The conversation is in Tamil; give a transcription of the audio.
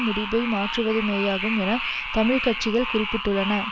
முடிபை மாற்றுவதுமேயாகும் என தமிழ் கட்சிகள் குறிப்பிட்டுள்ளன